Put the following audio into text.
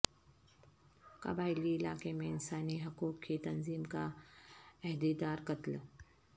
قبائلی علاقے میں انسانی حقوق کی تنظیم کا عہدیدار قتل